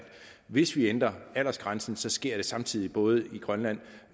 hvis vi ændrer aldersgrænsen sker det samtidig både i grønland